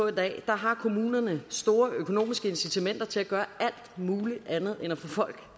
i dag har kommunerne store økonomiske incitamenter til at gøre alt muligt andet end at få folk